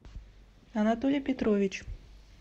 анатолий петрович